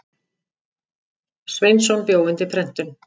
Sveinsson bjó undir prentun.